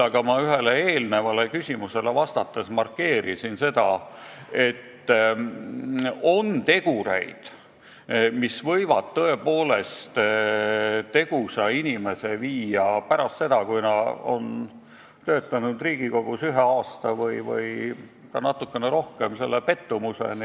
Aga ma ühele eelmisele küsimusele vastates markeerisin seda, et on tegureid, mis võivad tegusa inimese pärast seda, kui ta on töötanud Riigikogus ühe aasta või natuke rohkem, viia sügava pettumuseni.